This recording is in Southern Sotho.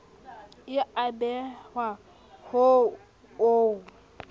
e a behelwa ho o